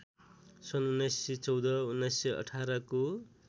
सन् १९१४ १९१८ को